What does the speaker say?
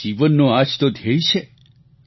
અને જીવનનો આ જ તો ધ્યેય છે